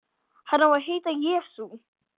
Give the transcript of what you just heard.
Hann á að heita Jesú.